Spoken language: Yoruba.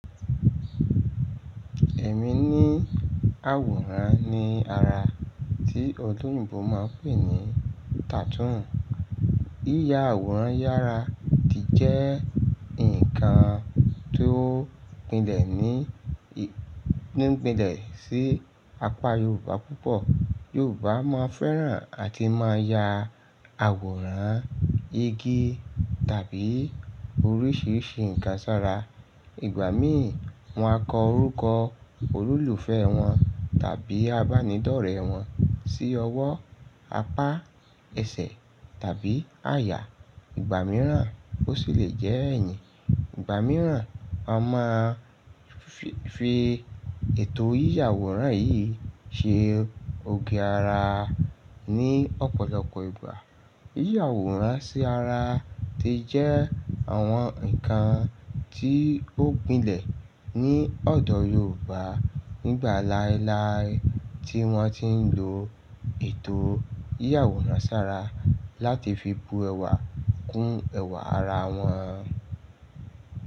Ẹ̀mí ní àwòrán ní ara tí oloyìnbo máa ń pè ní tattoo. Yíya àwòrán yára ti jẹ́ ǹnkan tó gbilẹ̀ ní, ní gbilẹ̀ sí apá Yorùbá púpọ̀. Yorùbá máa ń fẹ́ran àti máa ń ya àwòrán igi tàbí oríṣiríṣi ǹnkan sára. Ìgbà mí ì wọ́n á kọ orúkọ ololùfẹ́ wọn tàbí abánidọ́rẹ́ wọn sí ọwọ́, apá ẹsẹ̀ tàbí àyà. Ìgbà mìíràn ó sì lè jẹ́ ẹ̀yìn. Ìgbà mìíràn wọ́n máa ń fi ètò yíya àwòrán yìí ṣe òge ara ní ọ̀pọ̀lọpọ̀ ìgbà. Yíya àwòrán sí ara ti jẹ́ àwọn ǹnkan tí ó gbilẹ̀ ní ọ̀dọ̀ Yorùbá nígbà láéláé tí wọ́n ti ń lo ètò yíya àwòrán sára láti fi bu ẹwà kún ẹwà ara wọn.